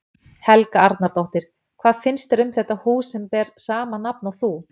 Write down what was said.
Helga Arnardóttir: Hvað finnst þér um þetta hús sem ber sama nafn og þú?